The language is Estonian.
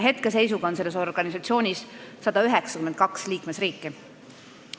Hetkeseisuga on selles organisatsioonis 192 liikmesriiki.